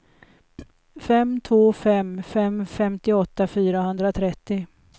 fem två fem fem femtioåtta fyrahundratrettio